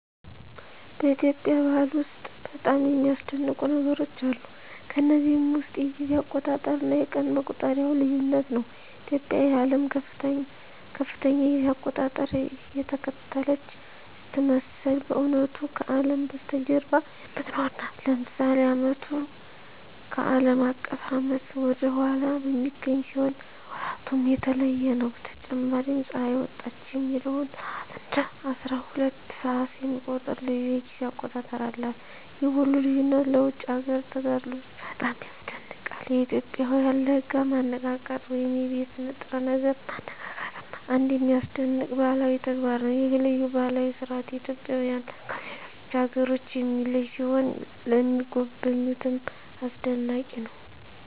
በኢትዮጵያ ባህል ውስጥ በጣም የሚያስደንቁ ነገሮች አሉ። ከነዚህም ውስጥ የጊዜ አቆጣጠር እና የቀን መቁጠሪያው ልዩነት ነው። ኢትዮጵያ የዓለምን ከፍተኛ የጊዜ አቆጣጠር እየተከተለች ስትመስል በእውነቱ ከአለም በስተጀርባ የምትኖር ናት። ለምሳሌ ዓመቱ ከአለም አቀፍ ዓመት ወደ ኋላ በሚገኝ ሲሆን ወራቱም የተለየ ነው። በተጨማሪም ፀሐይ ወጣች የሚለውን ሰዓት እንደ አስራሁለት ሰዓት የሚቆጥር ልዩ የጊዜ አቆጣጠር አላት። ይህ ሁሉ ልዩነት ለውጭ አገር ተጋዳላዮች በጣም ያስደንቃል። የኢትዮጵያውያን ለጋ ማነቃቃት ወይም የቤት ንጥረ ነገር ማነቃቃትም አንድ የሚያስደንቅ ባህላዊ ተግባር ነው። ይህ ልዩ ባህላዊ ሥርዓት ኢትዮጵያውያንን ከሌሎች አገሮች የሚለይ ሲሆን ለሚጎበኙትም አስደናቂ ነው።